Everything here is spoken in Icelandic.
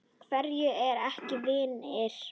Hverjir eru ekki vinir?